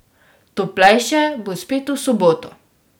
Toplejše bo spet v soboto.